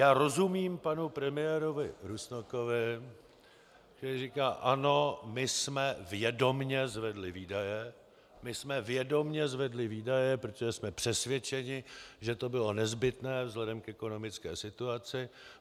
Já rozumím panu premiérovi Rusnokovi, který říká: Ano, my jsme vědomě zvedli výdaje, my jsme vědomě zvedli výdaje, protože jsme přesvědčeni, že to bylo nezbytné vzhledem k ekonomické situaci.